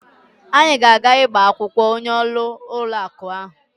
Anyi ga aga igba akwukwo onye oru ulo aku ahu